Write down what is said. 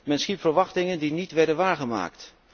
Men schiep verwachtingen die niet werden waargemaakt.